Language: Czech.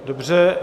Dobře.